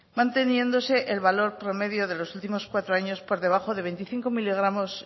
manteniéndose el valor promedio de los últimos cuatro años por de veinticinco mm